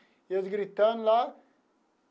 E eles gritando lá.